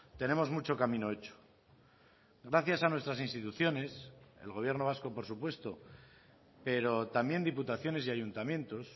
tenemos mucho camino hecho gracias a nuestras instituciones el gobierno vasco por supuesto pero también diputaciones y ayuntamientos